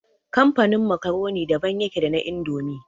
Kamfanin makaroni daban yake da na indomi